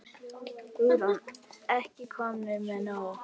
Hugrún: Ekki komnir með nóg?